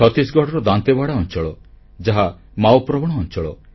ଛତିଶଗଡ଼ର ଦାନ୍ତେୱାଡା ଅଂଚଳ ଯାହା ମାଓପ୍ରବଣ ଅଂଚଳ